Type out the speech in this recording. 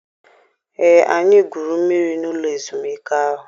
Ee, anyị gwuru mmiri n'ụlọ ezumike ahụ.